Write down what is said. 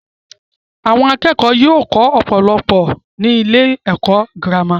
Àwọn akẹ́kọ̀ọ́ yóò kọ́ ọ̀pọ̀lọpọ̀ ní ilé-ẹ̀kọ́ girama.